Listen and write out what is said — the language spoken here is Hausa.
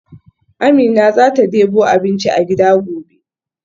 Amina zata debo abinci a gida gobe.